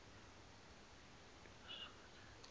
umntu usuka akhe